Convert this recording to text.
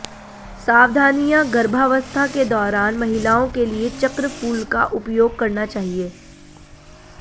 सावधानियां गर्भावस्था के दौरान महिलाओं के लिए चक्र फूल का उपयोग करना चाहिए